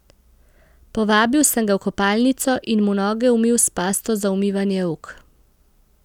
Povabil sem ga v kopalnico in mu noge umil s pasto za umivanje rok.